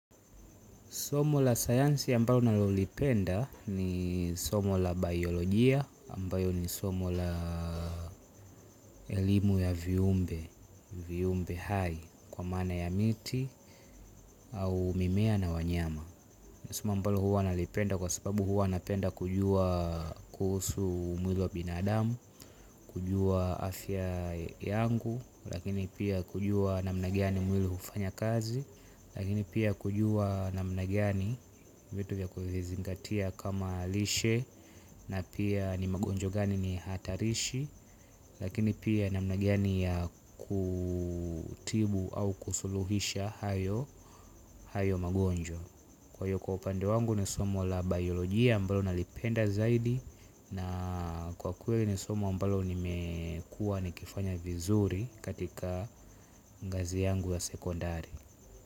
Somo la sayansi ambalo ninalolipenda ni somo la baiolojia ambalo ni somo la elimu ya viumbe, viumbe hai kwa maana ya miti au mimea na wanyama. Ni somo ambalo huwa nalipenda kwasababu huwa napenda kujua kuhusu mwili wa binadamu, kujua afya yangu, lakini pia kujua namna gani mwili hufanya kazi, lakini pia kujua namna gani vitu vya kuvizingatia kama lishe na pia ni magonjwa gani ni hatarishi, lakini pia namna gani ya kutibu au kusuluhisha hayo hayo magonjwa. Kwahiyo, kwa upande wangu ni somo la baiolojia ambalo nalipenda zaidi na kwakweli ni somo ambalo nimekuwa nikifanya vizuri katika ngazi yangu ya sekondari.